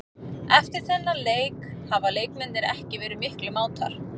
Eftir þennan leik hafa leikmennirnir ekki verið miklir mátar.